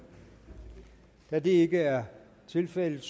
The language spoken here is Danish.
da det ikke er tilfældet